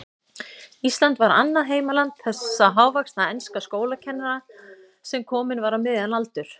Ísland var annað heimaland þessa hávaxna enska skólakennara, sem kominn var á miðjan aldur.